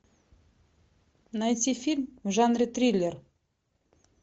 найти фильм в жанре триллер